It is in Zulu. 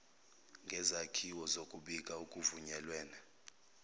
ngezakhiwo zokubika okuvunyelwene